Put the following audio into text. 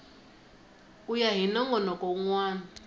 ku ya hi nongonoko wun